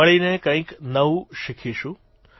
મળીને કંઇક નવું શીખીશું